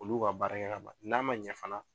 Olu y'u ka baarakɛ ka ban n'a ma ɲɛ fana